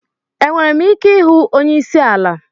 Enwere m ike ịhụ onye isi ala?